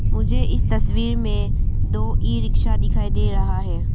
मुझे इस तस्वीर में दो ई रिक्शा दिखाई दे रहा है।